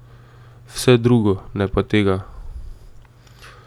Vse drugo, ne pa tega.